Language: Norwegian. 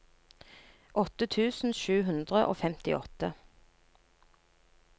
åtte tusen sju hundre og femtiåtte